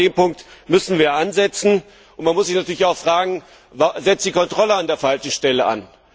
Ich glaube, an diesem Punkt müssen wir ansetzen, und man muss sich natürlich auch fragen Setzt die Kontrolle an der falschen Stelle an?